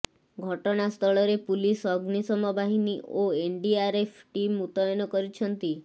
ଘଟଣାସ୍ଥଳରେ ପୁଲିସ୍ ଅଗ୍ନିଶମ ବାହିନୀ ଓ ଏନଡିଆର୍ଏଫ୍ ଟିମ୍ ମୁତୟନ ଅଛନ୍ତି